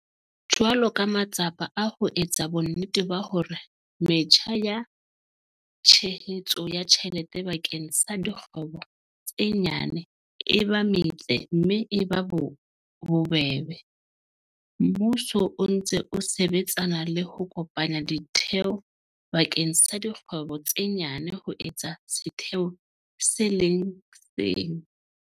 Jwalo ka matsapa a ho etsa bonnete ba hore metjha ya tshehetso ya tjhelete bakeng sa dikgwebo tse nyane e ba metle mme e ba bobebe, mmuso o ntse o sebetsana le ho kopanya ditheo bakeng sa dikgwebo tse nyane ho etsa setheo se le seng.